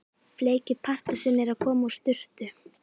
Bleiki Pardusinn að koma úr sturtu!